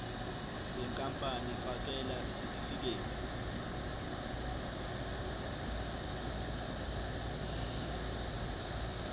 yenkampani fakela isitifikedi